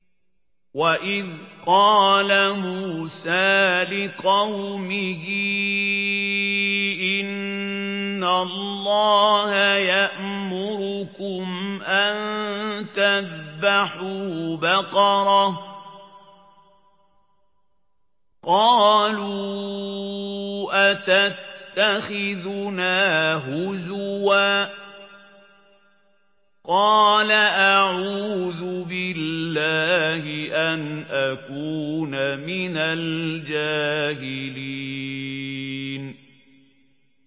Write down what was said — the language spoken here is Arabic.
وَإِذْ قَالَ مُوسَىٰ لِقَوْمِهِ إِنَّ اللَّهَ يَأْمُرُكُمْ أَن تَذْبَحُوا بَقَرَةً ۖ قَالُوا أَتَتَّخِذُنَا هُزُوًا ۖ قَالَ أَعُوذُ بِاللَّهِ أَنْ أَكُونَ مِنَ الْجَاهِلِينَ